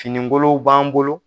Finingolow b'an bolo.